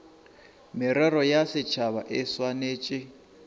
merero ya setšhaba e swanetše